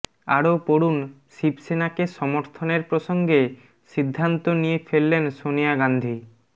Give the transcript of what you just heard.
আরও পড়ুন শিবসেনাকে সমর্থনের প্রসঙ্গে সিদ্ধান্ত নিয়ে ফেললেন সনিয়া গান্ধী